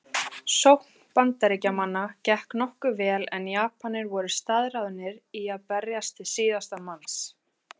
Sókn Bandaríkjamanna gekk nokkuð vel en Japanir voru staðráðnir í að berjast til síðasta manns.